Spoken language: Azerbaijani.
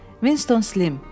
Winston Slim.